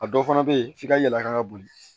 A dɔw fana bɛ yen f'i ka yɛlɛ ka boli